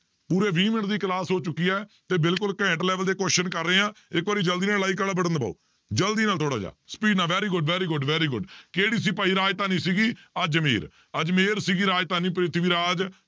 ਪੂਰੇ ਵੀਹ ਮਿੰਟ ਦੀ class ਹੋ ਚੁੱਕੀ ਹੈ ਤੇ ਬਿਲਕੁਲ ਘੈਂਟ level ਦੇ question ਕਰ ਰਹੇ ਹਾਂ ਇੱਕ ਵਾਰੀ ਜ਼ਲਦੀ ਨਾਲ like ਵਾਲਾ button ਦਬਾਓ ਜ਼ਲਦੀ ਨਾਲ ਥੋੜ੍ਹਾ ਜਿਹਾ speed ਨਾ very good, very good, very good ਕਿਹੜੀ ਸੀ ਭਾਈ ਰਾਜਧਾਨੀ ਸੀਗੀ ਅਜ਼ਮੇਰ, ਅਜ਼ਮੇਰ ਸੀਗੀ ਰਾਜਧਾਨੀ ਪ੍ਰਿਥਵੀ ਰਾਜ